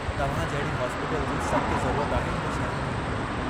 तव्हां जहिड़ी हॉस्पीटल जी सख़्त ज़रूरत आहे हिन शहर खे।